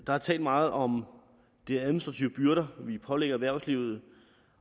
der er talt meget om de administrative byrder vi pålægger erhvervslivet